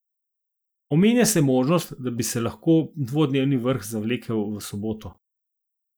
Omenja se možnost, da bi se lahko dvodnevni vrh zavlekel v soboto.